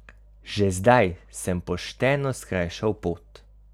Že zdaj sem pošteno skrajšal pot.